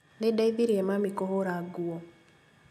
Nĩndeithirie mami kũhũra nguo